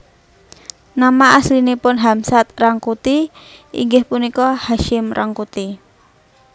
Nama aslinipun Hamsad Rangkuti inggih punika Hasyim Rangkuti